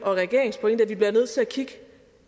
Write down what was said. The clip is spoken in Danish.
regeringens pointe er vi nødt til at kigge